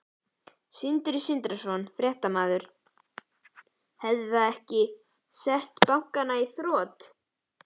Sindri Sindrason, fréttamaður: Hefði það ekki sett bankann í þrot?